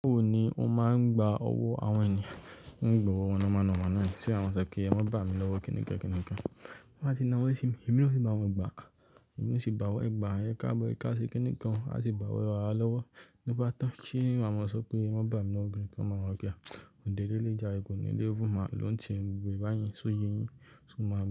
Ó ni ó máa ń gba owó àwọn ènìyàn, wọ́n gbà owó ọ̀nà ma nọ̀na náà ni. Ṣé àwọn ṣọ pé ẹ má bá mi lọ́wọ́ kini kẹ́kẹ́ níkan? Wọ́n máa ti na wé sí mi, èmi ló sì bá wọn gbà. Èmi ló sì bá wọ́n gbà, ẹ ká bó ẹ ká ṣe kíni kan, a sì bá wọ́n rà lọ́wọ́. Nígbà tó ṣe é, màá mọ̀ só pé ẹ má bá mi lọ́wọ́, bí mo bá mọ̀ kíá. Òde lé lé jà, eégún lé lé vo, màá lòún tì ẹ, mo gbe ìbáyìí sóye yín, so máa bá ẹ.